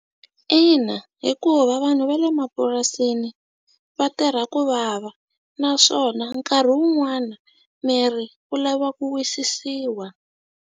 Ina, hikuva vanhu va le mapurasini va tirha ku vava naswona nkarhi wun'wani miri wu lava ku wisisiwa